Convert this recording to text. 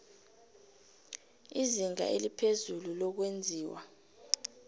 izinga eliphezulu lokwenziwa